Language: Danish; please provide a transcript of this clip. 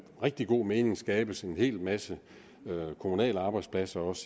rigtig god mening kan skabes en hel masse kommunale arbejdspladser også